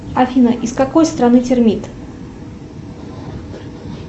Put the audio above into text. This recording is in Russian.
афина из какой страны термит